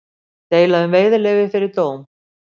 Deila um veiðileyfi fyrir dóm